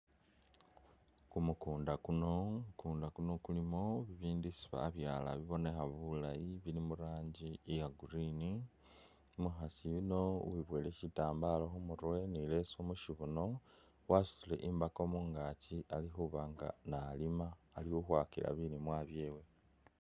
Kumukunda kuno kumukunda kuno kulimo bibindu isi babyala binonekha bulaayi bili muranji iya green ,umukhaasi yuno wibowele shitambalo khumurwe ni leso mushibuno wasutile imbaako mungakyi ali khubanga nalima ali khukhwakila bilimwa byewe.